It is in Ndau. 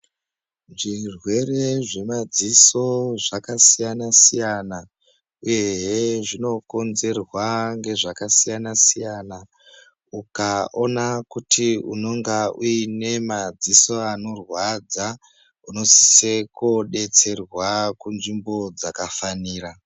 Zvirwere zvemadziso zvakasiyana-siyana uyehe zvinokonzerwa ngezvakasiyana-siyana. Ukaona kuti unonga uine madziso ako anorwadza unosisa kunodetserwa kunzvimbo dzakafanira.